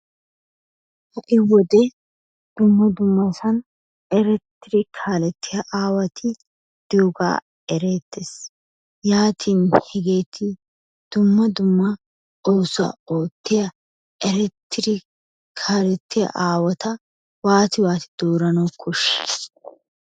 Ha"i wode dumma dummasan erettidi kaalettiya aawati diyogaa ereettes. Yaatin hegeeti dumma dumma oosuwa oottiya erettidi kaalettiya aawata waati dooranawu koshshii?